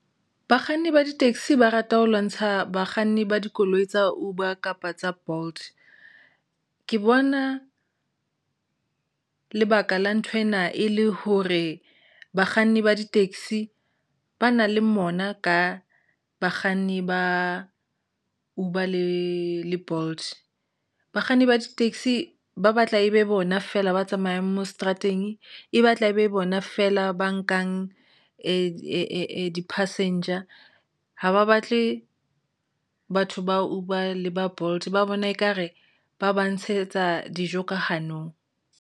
Bakganni ba ditekisi ba rata ho lwantsha bakganni ba dikoloi tsa Uber kapa tsa Bolt ke bona lebaka la nthwena e le hore bakganni ba di taxi ba na le mona ka bakganni ba Uber le Bolt bakganni ba di taxi ba batla e be bona feela ba tsamayang mo seterateng, e batla e be bona feela ba nkang di-passenger haba batle batho ba Uber le ba Bolt ba bona ekare ba ba ntshetsa dijo ka hanong.